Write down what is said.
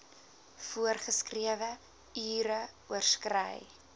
voorgeskrewe ure oorskry